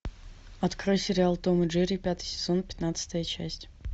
открой сериал том и джерри пятый сезон пятнадцатая часть